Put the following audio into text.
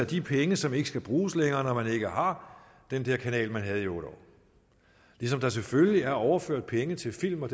de penge som ikke skal bruges længere når man ikke har den kanal man havde i otte år ligesom der selvfølgelig er overført penge til film og